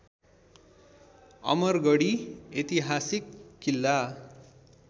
अमरगढी ऐतिहासिक किल्ला